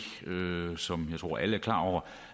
som jeg tror alle er klar over